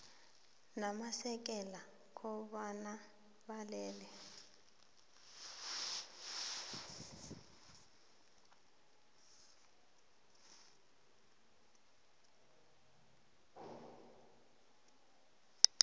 namasekela kobana balele